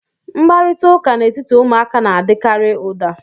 Mkparịta ụka n'etiti ụmụaka na-adịkarị ụda